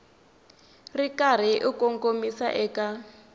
ri karhi u kongomisa eka